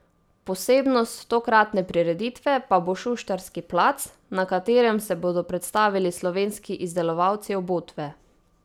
Posebnost tokratne prireditve pa bo šuštarski plac, na katerem se bodo predstavili slovenski izdelovalci obutve.